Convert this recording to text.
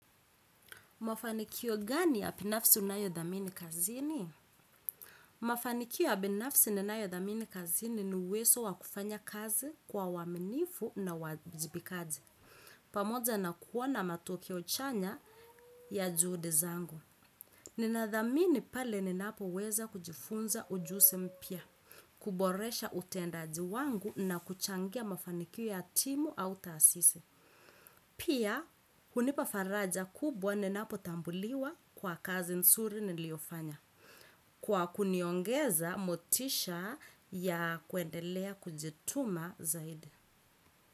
Mafanikio gani ya pinafsi unayo dhamini kazini? Mafanikio ya binafsi ninayo dhamini kazini ni uweso wakufanya kazi kwa uaminifu na uwajibikazi. Pamoja na kuona matokeo chanya ya juhudi zangu nina dhamini pale ni napo weza kujifunza ujusi mpya, kuboresha utendaji wangu na kuchangia mafanikio ya timu au taasisi. Pia, hunipafaraja kubwa nina potambuliwa kwa kazi nsuri niliofanya. Kwa kuniongeza, motisha ya kuendelea kujituma zaidi.